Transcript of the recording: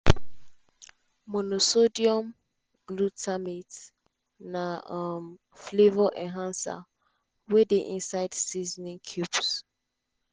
monosodium glutamate na um flavour enhancer wey dey inside seasoning cubes.